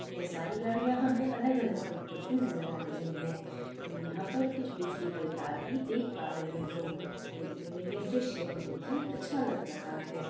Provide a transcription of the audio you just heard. ये सारी गाड़ियां हमें अलग अलग कंपनी की नज़र आ रही है हम यहाँ पर कुछ बिजली के तार भी देख पा रहे है देखने मैं ये दृश्य बहुत ही अच्छा लग रहा है।